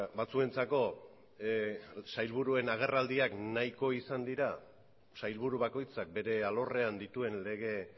batzuentzako sailburuen agerraldiak nahiko izan dira sailburu bakoitzak bere alorrean dituen lege